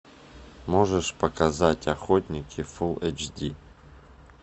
можешь показать охотники фулл эйч ди